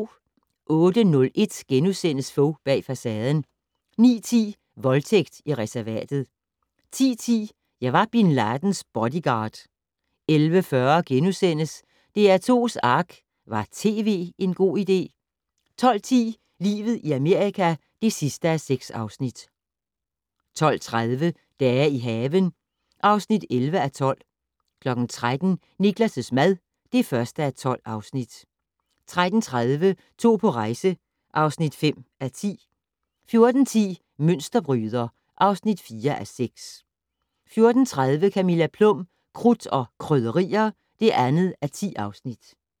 08:01: Fogh bag facaden * 09:10: Voldtægt i reservatet 10:10: Jeg var bin Ladens bodyguard 11:40: DR2's Ark - Var tv en god idé? * 12:10: Livet i Amerika (6:6) 12:30: Dage i haven (11:12) 13:00: Niklas' mad (1:12) 13:30: To på rejse (5:10) 14:10: Mønsterbryder (4:6) 14:30: Camilla Plum - Krudt og Krydderier (2:10)